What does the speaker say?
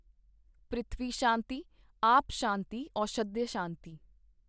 ਪ੍ਰਿਥਵੀ ਸ਼ਾਂਤੀ ਆਪ ਸ਼ਾਂਤੀ ਔਸ਼ਧਯ ਸ਼ਾਂਤੀ।